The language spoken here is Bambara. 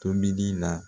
Tobili la